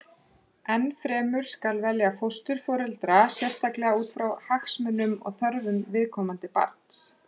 Enn fremur skal velja fósturforeldra sérstaklega út frá hagsmunum og þörfum viðkomandi barns.